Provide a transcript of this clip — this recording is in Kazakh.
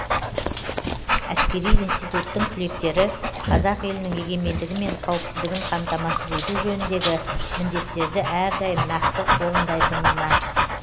әскери институттың түлектері қазақ елінің егемендігі мен қауіпсіздігін қамтамасыз ету жөніндегі міндеттерді әрдайым нақты орындайтынына